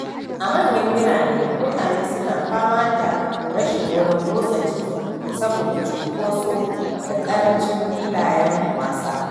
A manyan birane, mutane suna fama da rashin wurin motsa jiki saboda cunkoso da ƙarancin filayen wasa.